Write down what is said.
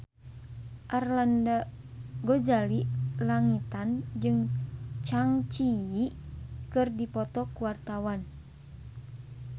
Arlanda Ghazali Langitan jeung Zang Zi Yi keur dipoto ku wartawan